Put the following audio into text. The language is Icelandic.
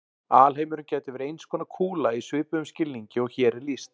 Alheimurinn gæti verið eins konar kúla í svipuðum skilningi og hér er lýst.